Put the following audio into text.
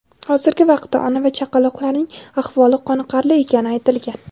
Hozirgi vaqtda ona va chaqaloqlarning ahvoli qoniqarli ekani aytilgan.